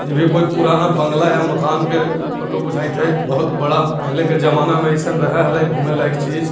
ये भी कोई पुराना बागला या मकान के फोटो बुजयित है। बहुत बड़ा पहले के जमाने में ऐसे रहेला छे घूमे लायक चीज--